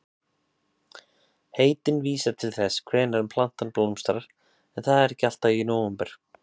Heitin vísa til þess hvenær plantan blómstrar en það er ekki alltaf í nóvember.